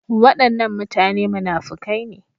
Wadannan mutane munafukai ne.